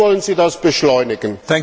Wie wollen Sie das beschleunigen?